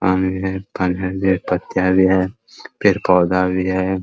पत्तियाँ भी है । पेड़-पौधा भी है ।